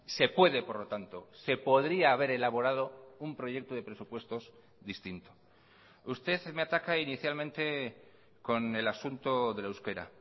se puede por lo tanto se podría haber elaborado un proyecto de presupuestos distinto usted me ataca inicialmente con el asunto del euskera